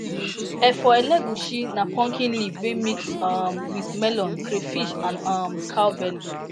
[efo elegusi] na pumpkin leaf wey mix mix um with melon crayfish and um cow belly